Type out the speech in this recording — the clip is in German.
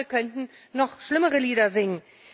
Andere könnten noch schlimmere Lieder singen.